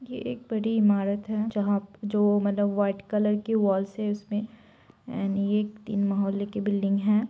ये एक बड़ी इमारत है जहां-जो मतलब व्हाइट कलर की वॉलस है उसमे एण्ड ये तीन महोले के बिल्डिंग है।